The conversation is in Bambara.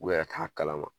U yɛrɛ t'a kalama